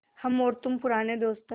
हम और तुम पुराने दोस्त हैं